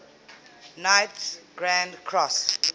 knights grand cross